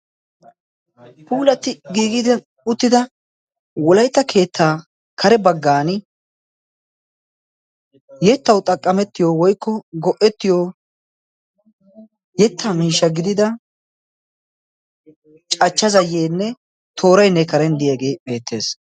puulati giigidi uttida wolaita keettaa kare baggan yettau xaqqamettiyo woikko go77ettiyo yetta miisha gidida cachcha zayyeenne toorainne karen diyaagee beettees